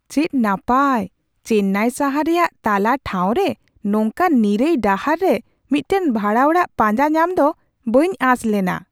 ᱪᱮᱫ ᱱᱟᱯᱟᱭ ! ᱪᱮᱱᱱᱟᱭ ᱥᱟᱦᱟᱨ ᱨᱮᱭᱟᱜ ᱛᱟᱞᱟ ᱴᱷᱟᱶ ᱨᱮ ᱱᱚᱝᱠᱟᱱ ᱱᱤᱨᱟᱹᱭ ᱰᱟᱦᱟᱨ ᱨᱮ ᱢᱤᱫᱴᱟᱝ ᱵᱷᱟᱲᱟ ᱚᱲᱟᱜ ᱯᱟᱸᱡᱟ ᱧᱟᱢ ᱫᱚ ᱵᱟᱹᱧ ᱟᱸᱥ ᱞᱮᱱᱟ ᱾